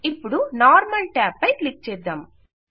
ఇపుడు normal tab పై click చేద్దాం